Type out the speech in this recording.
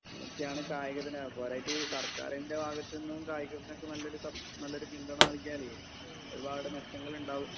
ഇങ്ങനെയൊക്കെയാണ് പോരാഞ്ഞിട്ട് സർക്കാരിൻ്റെ ഭാഗത്തുനിന്നും കായികത്തിന് നല്ലൊരു സ നല്ലൊരു പിന്തുണ നല്കിയാല് ഒരുപാട് മെച്ചങ്ങൾ ഉണ്ടാവും